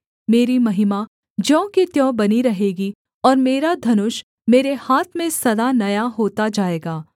मेरी महिमा ज्यों की त्यों बनी रहेगी और मेरा धनुष मेरे हाथ में सदा नया होता जाएगा